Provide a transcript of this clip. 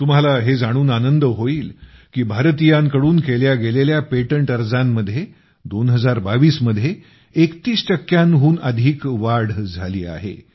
तुम्हाला हे जाणून आनंद होईल की भारतीयांकडून केल्या गेलेल्या पेटंट अर्जांमध्ये 2022 मध्ये 31 टक्क्यांहून अधिक वाढ झाली आहे